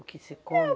O que se come?